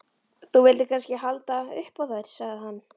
Þú vildir kannski halda upp á þær, sagði hann.